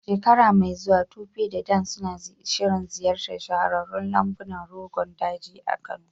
A shekara mai zuwa, Tope da Dan suna shirin ziyartar shahararrun lambunan Rogon Daji a Kano.